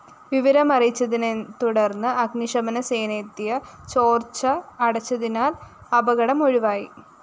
വിവരമറിയച്ചതിനെതുടര്‍ന്ന് അഗ്നിശമനസേനയെത്തിയ ചോര്‍ച്ച അടച്ചതിനാല്‍ അപകടം ഒഴിവായി